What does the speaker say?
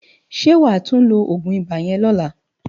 Sé wá tú ló ógún ibá yèn lòlá?